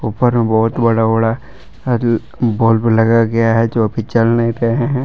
ऊपर में बहुत बड़ा बड़ा बल्ब लगाया गया है जोकि जल नहीं रहे हैं।